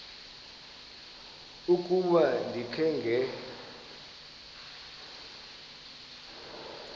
ukuba ndikha ngela